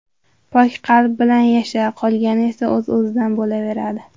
Pok qalb bilan yasha, qolgani esa o‘z-o‘zidan bo‘laveradi.